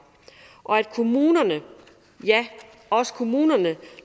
og at kommunerne ja også kommunerne